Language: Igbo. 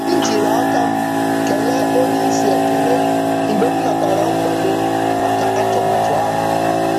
M jiri aka m kelee onyeisi ekele mgbe m natara nkwado maka atụmatụ ahụ.